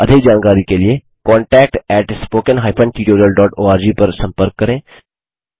अधिक जानकारी के लिए contactspoken tutorialorg पर संपर्क करें